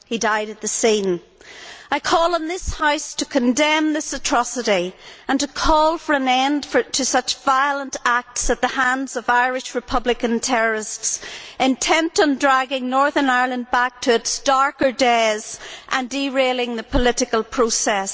He died at the scene. I call on this House to condemn this atrocity and to call for an end to such violent acts at the hands of Irish Republican terrorists intent on dragging Northern Ireland back to its darker days and derailing the political process.